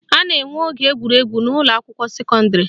A na-enwe oge egwuregwu n'ụlọakwụkwọ sekọndịrị